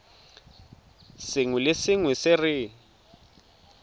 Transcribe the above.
sengwe le sengwe se re